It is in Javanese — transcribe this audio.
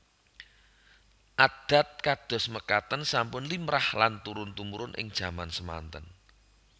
Adat kados mekaten sampun limrah lan turun tumurun ing jaman semanten